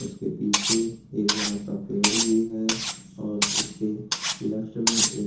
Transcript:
उसके पीछे एक बड़ा सा पेड़ भी है और उसके लेफ्ट में एक --